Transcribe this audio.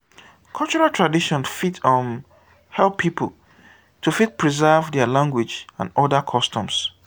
cultural tradition fit um help pipo to fit preserve their language and oda customs